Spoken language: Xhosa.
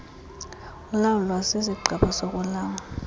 ulawulwa sisigqeba sokuulawula